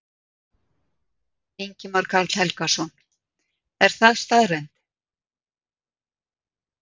Ingimar Karl Helgason: Er það staðreynd?